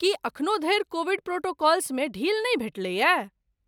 की एखनो धरि कोविड प्रोटोकॉल्समे ढील नहि भेटलैए?